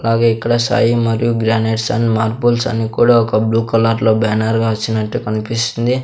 అలాగే ఇక్కడ సాయి మరియు గ్రానైట్స్ అండ్ మార్బుల్స్ అని కూడా ఒక బ్లూ కలర్ లో బ్యానర్ గా వచ్చినట్టు కనిపిస్తుంది.